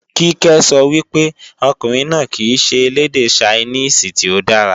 Kíkẹ́ sọ wípé, ọkùnrin náà kìí ṣe elédè Ṣainíìsì tí ó dára